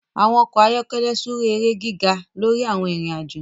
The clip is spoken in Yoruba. àwọn ọkọ ayọkẹlẹ súré èrè gíga lórí àwon Ìrìn àjọ